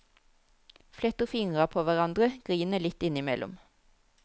Fletter fingra på hverandre, griner litt innimellom.